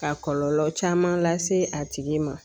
Ka kɔlɔlɔ caman lase a tigi ma